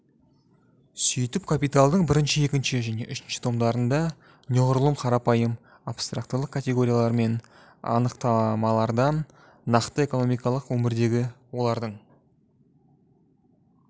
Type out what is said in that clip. сөйтіп капиталдың бірінші екінші және үшінші томдарында неғұрлым қарапайым абстрактылық категориялар мен анықтамалардан нақты экономикалық өмірдегі олардың